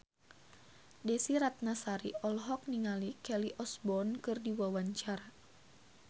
Desy Ratnasari olohok ningali Kelly Osbourne keur diwawancara